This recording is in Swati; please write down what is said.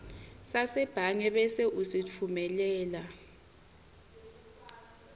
sasebhange bese usitfumelela